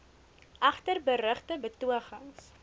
egter berugte betogings